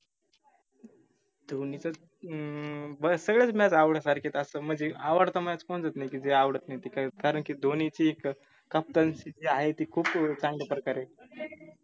धोनीच हम्म मला सगळ्याच match आवडल्या सारख्याच असतात म्हनजे आवडता match कोणताच नाई की, जे आवडत नाई ते काई कारन की धोनीची एक captainship जी आहे ती खूप चांगल्या प्रकारे